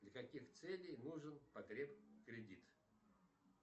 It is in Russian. для каких целей нужен потреб кредит